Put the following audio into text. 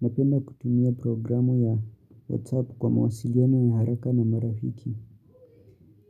Napenda kutumia programu ya WhatsApp kwa mawasiliano ya haraka na marafiki.